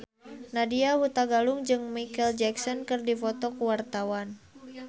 Nadya Hutagalung jeung Micheal Jackson keur dipoto ku wartawan